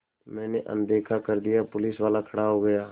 मैंने अनदेखा कर दिया पुलिसवाला खड़ा हो गया